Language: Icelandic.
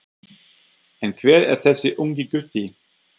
En hver er þessi ungi gutti?